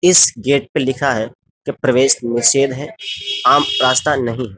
इस गेट पर लिखा है। प्रवेश निषेध है। आम रास्ता नहीं है।